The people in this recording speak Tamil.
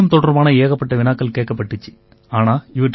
அதில கணிதம் தொடர்பான ஏகப்பட்ட வினாக்கள் கேட்கப்பட்டிச்சு